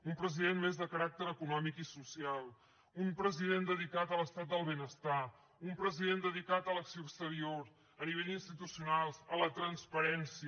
un president més de caràcter econòmic i social un president dedicat a l’estat del benestar un president dedicat a l’acció exterior a nivell institucional a la transparència